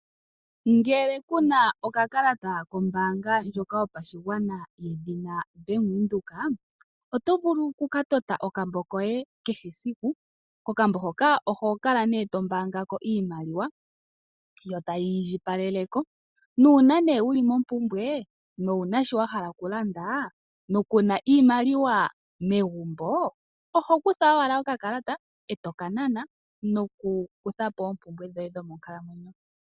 Ngele kuna okakalata kombaanga ndjoka yopashigwana yedhina Bank Windhoek, oto vulu oku ka tota okambo koye kehe esiku. Okambo hono oho kala nee to mbaangako iimaliwa, yo tayi indjipalele ko nuuna nee wuli mompumbwe no wuna shono wa hala okulanda, no ku na iimaliwa megumbo, oho kutha wala okakalata eto ka nana no ku kutha po oompumbwe dhoye dho monkalamwenyo.